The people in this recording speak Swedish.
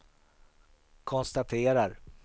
konstaterar